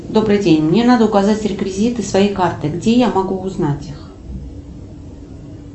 добрый день мне надо указать реквизиты своей карты где я могу узнать их